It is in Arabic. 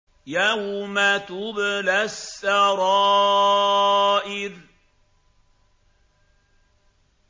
يَوْمَ تُبْلَى السَّرَائِرُ